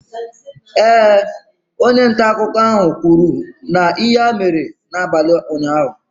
Ee, onye nta akụkọ ahụ kwuru na ihe a mere n'abalị ụnyahụ.